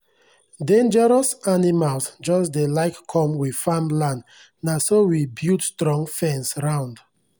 dangeros animals jus dey like com we farmland naso we built strong fence round